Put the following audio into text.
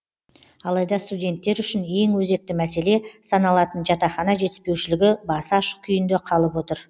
алайда студенттер үшін ең өзекті мәселе саналатын жатақхана жетіспеушілігі басы ашық күйінде қалып отыр